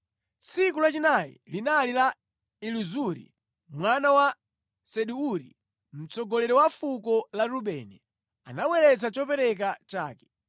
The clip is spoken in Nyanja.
Tsiku lachinayi linali la Elizuri mwana wa Sedeuri, mtsogoleri wa fuko la Rubeni, anabweretsa chopereka chake.